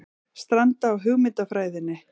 Stranda á hugmyndafræðinni